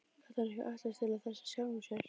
Gat hann ætlast til þess af sjálfum sér?